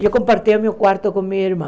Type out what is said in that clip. Eu compartilhava meu quarto com minha irmã.